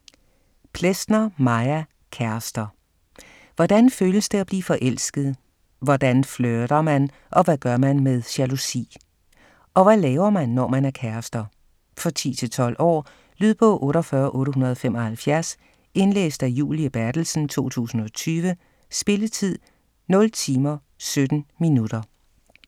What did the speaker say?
Plesner, Maja: Kærester Hvordan føles det at blive forelsket, hvordan flirter man, og hvad gør man med jalousi? Og hvad laver man, når man er kærester? For 10-12 år. Lydbog 48875 Indlæst af Julie Berthelsen, 2020. Spilletid: 0 timer, 17 minutter.